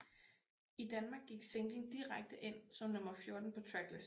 I Danmark gik singlen direkte ind som nummer 14 på tracklisten